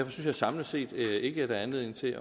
jeg samlet set ikke at der er anledning til